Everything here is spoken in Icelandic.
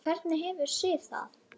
Hvernig hefur Sif það?